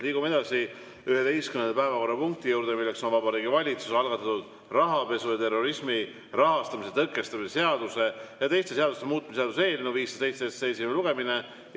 Liigume edasi 11. päevakorrapunkti juurde: Vabariigi Valitsuse algatatud rahapesu ja terrorismi rahastamise tõkestamise seaduse ja teiste seaduste muutmise seaduse eelnõu 507 esimene lugemine.